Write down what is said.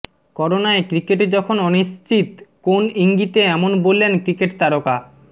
করোনায় ক্রিকেট যখন অনিশ্চিত কোন ইঙ্গিতে এমন বললেন ক্রিকেট তারকা